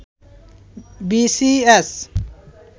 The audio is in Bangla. B C S